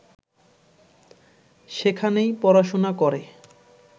সেখানেই পড়াশোনা করে